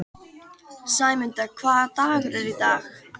Sæmunda, hvaða dagur er í dag?